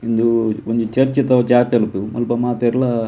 ಉಂದು ಒಂಜಿ ಚರ್ಚ್ ಮುಲ್ಪ ಮಾತೆರ್ಲ--